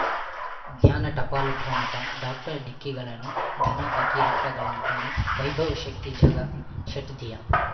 ಜ್ಞಾನ ಟಪಾಲು ಠೊಣಪ ಡಾಕ್ಟರ್ ಢಿಕ್ಕಿ ಗಳನು ಧನ ಫಕೀರಪ್ಪ ಗಳಂತಾನೆ ವೈಭವ್ ಶಕ್ತಿ ಝಗಾ ಷಟ್ದಿಯ